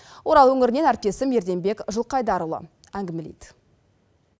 орал өңірінен әріптесім ерденбек жылқайдарұлы әңгімелейді